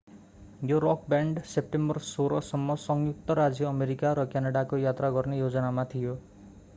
यो rock band September 16 सम्म संयुक्त राज्य अमेरिका र क्यानडाको यात्रा गर्ने योजनामा थियो